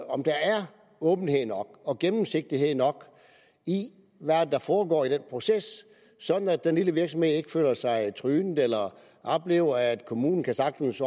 om der er åbenhed nok og gennemsigtighed nok i hvad der foregår i den proces sådan at den lille virksomhed ikke føler sig trynet eller oplever at kommunen sagtens